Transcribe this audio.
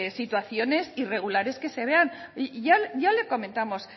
situaciones irregulares que se vean ya le comentamos